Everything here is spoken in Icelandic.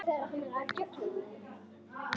Ég veit um dæmi þess.